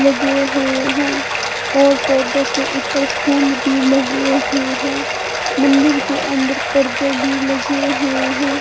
लगे हुए हैं और पौधों के ऊपर फूल भी लगे हुए हैं मंदिर के अंदर पर्दे भी लगे हुए हैं।